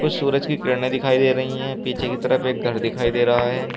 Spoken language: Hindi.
सूरज की किरणें दिखाई दे रही हैं पीछे की तरफ एक घर दिखाई दे रहा है।